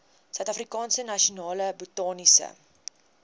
suidafrikaanse nasionale botaniese